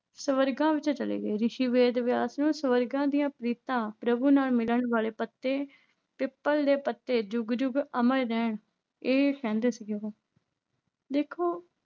ਸਵਰਗਾਂ ਵਿੱਚ ਚਲੇ ਗਏ, ਰਿਸ਼ੀ ਵੇਦ ਵਿਆਸ ਨੂੰ ਸਵਰਗਾਂ ਦੀਆਂ ਪ੍ਰੀਤਾਂ ਪ੍ਰਭੂ ਨਾਲ ਮਿਲਣ ਵਾਲੇ ਪੱਤੇ, ਪਿੱਪਲ ਦੇ ਪੱਤੇ ਜੁਗ ਜੁਗ ਅਮਰ ਰਹਿਣ ਇਹ ਕਹਿੰਦੇ ਸੀ ਉਹ ਦੇਖੋ